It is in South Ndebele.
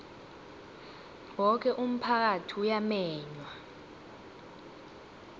woke umphakathi uyamenywa